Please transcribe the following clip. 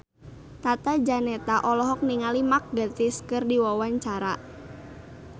Tata Janeta olohok ningali Mark Gatiss keur diwawancara